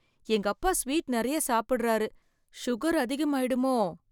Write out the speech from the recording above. எங்க அப்பா ஸ்வீட் நெறைய சாப்புடுறாரு சுகர் அதிகம் ஆயிடுமோ?